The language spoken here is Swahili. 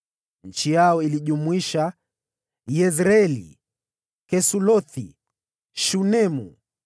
Eneo lao lilijumuisha: Yezreeli, Kesulothi, Shunemu,